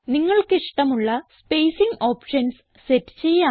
നമുക്കിഷ്ടമുള്ള spacing options set ചെയ്യാം